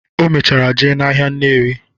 O mechara jee n'ahịa Nnewi.